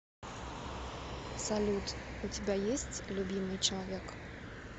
салют у тебя есть любимый человек